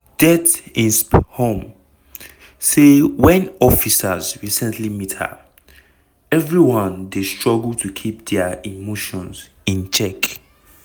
det insp humm say wen officers recently meet her "everyone dey struggle to keep dia emotions in check".